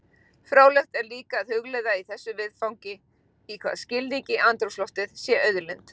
Fróðlegt er líka að hugleiða í þessu viðfangi í hvaða skilningi andrúmsloftið sé auðlind.